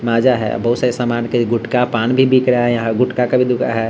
माज़ा है बहुत सारे सामान के गुटका पान भी बिक रहा है यहाँ गुटका का भी दुकान है।